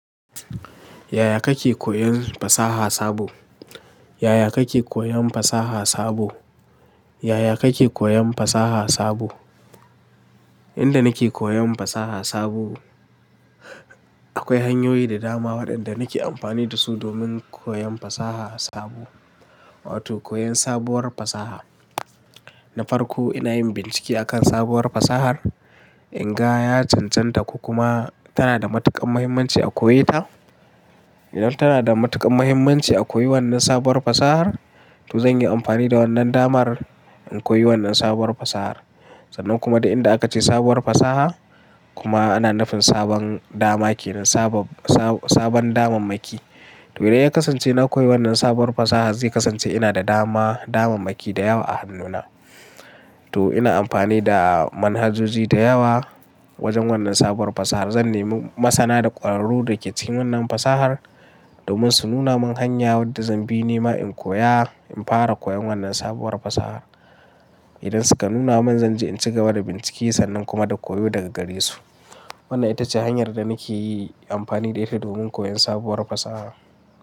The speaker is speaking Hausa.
Yaya kake koyen fasaha sabo? Yaya kake koyon fasaha sabo? Yaya kake koyon fasaha sabo? Inda nake koyon fasaha sabo, akwai hanyoyi da dama waɗanda nake amfani da su domin koyon fasaha sabo, wato koyon sabuwar fasaha. Na farko ina yin bincike akan sabuwar fasahar in ga ya cancanta ko kuma tana da matuƙar mahimmanci a koye ta. Idan tana da matuƙar mahimmanci a koyi wannan sabuwar fasahar, to zan yi amfani da wannan damar in koyi wannan sabuwar fasahar. Sannan kuma da inda aka ce sabuwar fasaha kuma ana nufin sabon dama ke nan, sabo-sabo sabon damammaki. To idan ya kasance na koyi wannan sabuwar fasaha zai kasance ina da dama, damammaki da yawa a hannuna. To ina amfani da manhajoji da yawa wajen wannan sabuwar fasahar. Zan nemi masana da ƙwararru da ke cikin wannan fasahar domin su nuna min hanya wadda zan bi nema in koya, in fara koyon wannan sabuwar fasahar. Idan suka nuna min zan je in cigaba da bincike sannan kuma da koyo daga gare su. Wannan ita ce hanyar da nake yi amfani da ita domin koyon sabuwar fasaha.